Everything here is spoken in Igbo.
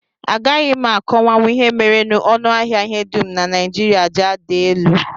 Agaghị m akọwanwu ihe mere ọnụahịa ihe dum na Naijiria ji ada elu